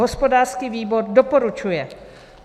Hospodářský výbor doporučuje.